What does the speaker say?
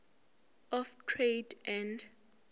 of trade and